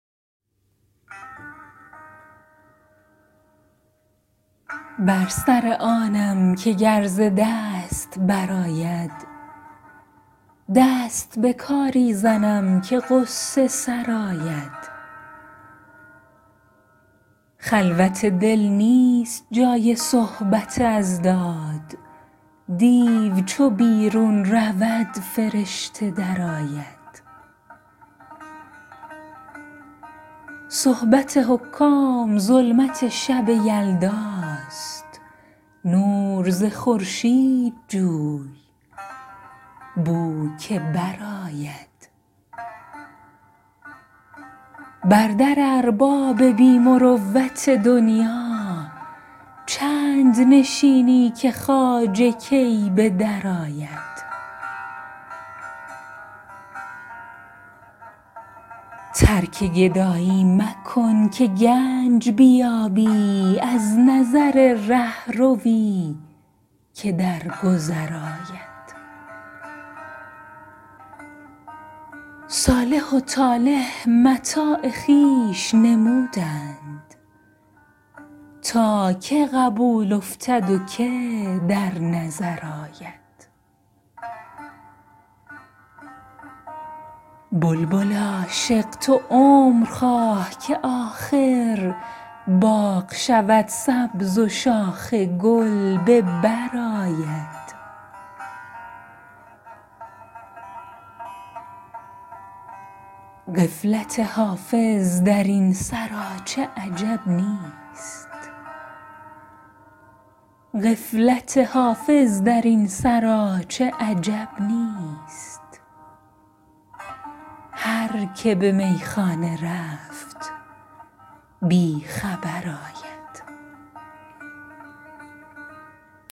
بر سر آنم که گر ز دست برآید دست به کاری زنم که غصه سرآید خلوت دل نیست جای صحبت اضداد دیو چو بیرون رود فرشته درآید صحبت حکام ظلمت شب یلداست نور ز خورشید جوی بو که برآید بر در ارباب بی مروت دنیا چند نشینی که خواجه کی به درآید ترک گدایی مکن که گنج بیابی از نظر رهروی که در گذر آید صالح و طالح متاع خویش نمودند تا که قبول افتد و که در نظر آید بلبل عاشق تو عمر خواه که آخر باغ شود سبز و شاخ گل به بر آید غفلت حافظ در این سراچه عجب نیست هر که به میخانه رفت بی خبر آید